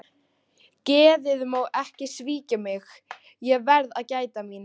Geðið má ekki svíkja mig, ég verð að gæta mín.